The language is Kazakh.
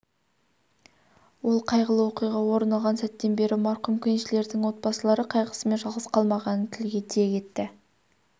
ол қайғылы оқиға орын алған сәттен бері марқұм кеншілердің отбасылары қайғысымен жалғыз қалмағанын тілге тиек етті